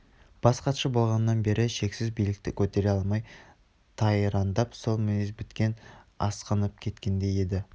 бас хатшы болғаннан бері шексіз билікті көтере алмай тайраңдап сол мінез тіптен асқынып кеткендей еді